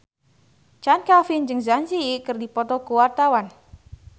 Chand Kelvin jeung Zang Zi Yi keur dipoto ku wartawan